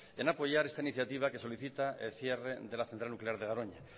en apoyar esta iniciativa que solicita el cierre de la central nuclear de garoña